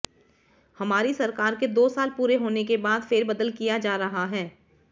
हमारी सरकार के दो साल पूरे होने के बाद फेरबदल किया जा रहा है